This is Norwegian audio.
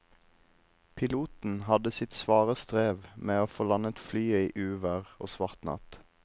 Piloten hadde sitt svare strev med å få landet flyet i uvær og svart natt.